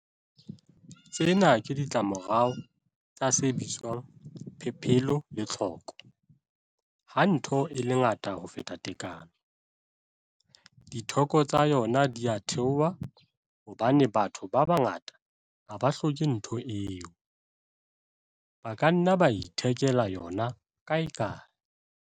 Tsena ke ditlamorao tsa se bitswang 'Phepelo le Tlhoko' Ha ntho e le ngata ho feta tekano, ditheko tsa yona di a theoha hobane batho ba bangata ha ba hloke ntho eo, ba ka nna ba ithekela yona kaekae.